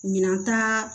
Minan ta